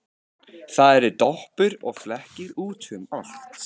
Það eru doppur og flekkir út um allt.